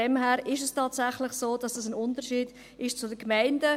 Daher ist es tatsächlich so, dass zu den Gemeinden ein Unterschied besteht.